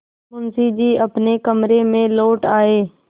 मुंशी जी अपने कमरे में लौट आये